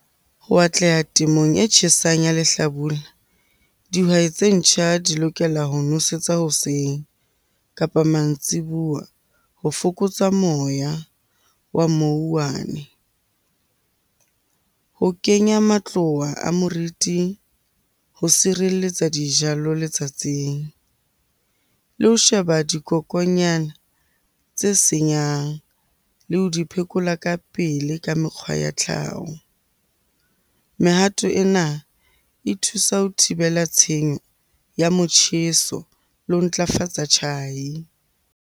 Ho atleha temong e tjhesang ya lehlabula, dihwai tse ntjha di lokela ho nosetsa hoseng kapa mantsibuya ho fokotsa moya wa . Ho kenya matloa a moriting ho sireletsa dijalo letsatsing. Le ho sheba dikokonyana tse senyang le ho di phekola ka pele ka mekgwa ya tlhaho. Mehato ena e thusa ho thibela tshenyo ya motjheso le ho ntlafatsa tjhai.